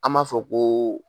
An b'a fɔ ko